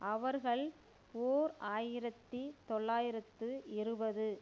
அவர்கள் ஓர் ஆயிரத்தி தொள்ளாயிரத்து இருபது